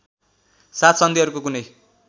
साथ सन्धिहरूको कुनै